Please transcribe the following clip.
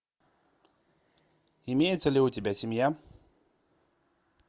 имеется ли у тебя семья